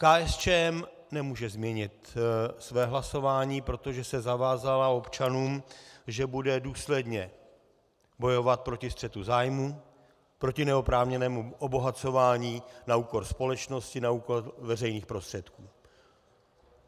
KSČM nemůže změnit své hlasování, protože se zavázala občanům, že bude důsledně bojovat proti střetu zájmů, proti neoprávněnému obohacování na úkor společnosti, na úkor veřejných prostředků.